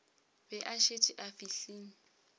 be a šetše a fihlile